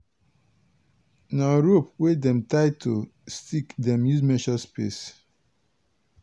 na rope wey dem tie to stick dem use measure space.